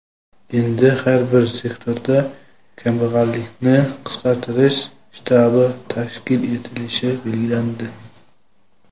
Endi har bir sektorda "Kambag‘allikni qisqartirish shtabi" tashkil etilishi belgilandi.